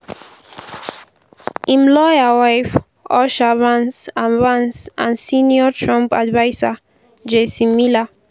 im lawyer wife usha vance and vance and senior trump adviser jason miller.